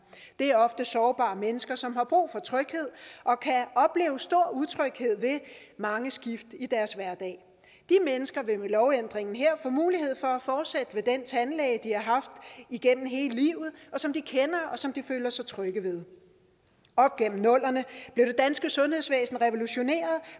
det er ofte sårbare mennesker som har brug for tryghed og kan opleve stor utryghed ved mange skift i deres hverdag de mennesker vil med lovændringen her få mulighed for at fortsætte ved den tandlæge de har haft igennem hele livet og som de kender og som de føler sig trygge ved op igennem nullerne blev det danske sundhedsvæsen revolutioneret